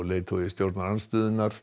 leiðtogi stjórnarandstöðunnar